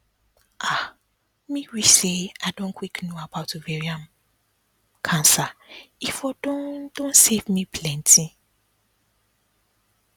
ah me wish say i don quick know about ovarian pause cancer e for don don save me plenty